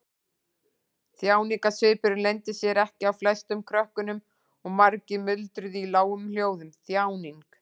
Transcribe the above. Þjáningarsvipurinn leyndi sér ekki á flestum krökkunum og margir muldruðu í lágum hljóðum: Þjáning.